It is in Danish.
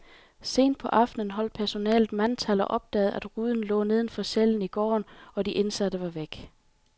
Sent på aftenen holdt personalet mandtal og opdagede, at ruden lå neden for cellen i gården, og de indsatte var væk.